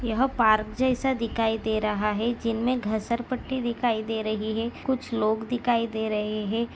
यह पार्क जैसा दिखाई दे रहा है जिन्मे घसरपट्टी दिखाई दे रही है कुछ लोग दिखाई दे रहे है।